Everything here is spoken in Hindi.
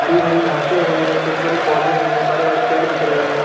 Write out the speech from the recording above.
हरी -भरी घासे है छोटे- छोटे पौधें है बड़े- बड़े पेड़ दिख रहे है।